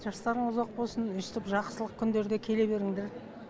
жастарың ұзақ болсын өстіп жақсылық күндерде келе беріңдер